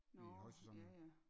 Vi er i højsæson nu